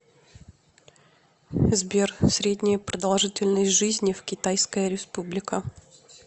сбер средняя продолжительность жизни в китайская республика